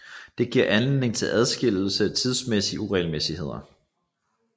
Det giver anledning til adskillige tidsmæssige uregelmæssigheder